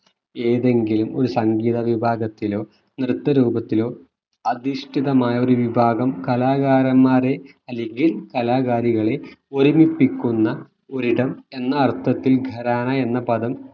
ഏതെങ്കിലും ഒരു സംഗീത വിഭാഗത്തിലോ നൃത്ത രൂപത്തിലോ അധിഷ്ഠിതമായൊരു വിഭാഗം കലാകാരന്മാരെ അല്ലെങ്കിൽ കലാകാരികളെ ഒരുമിപ്പിക്കുന്ന ഒരിടം എന്ന അർത്ഥത്തിൽ ഖരാനയെന്ന പദം